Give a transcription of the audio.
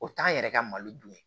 O t'an yɛrɛ ka malo dun